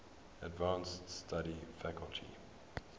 advanced study faculty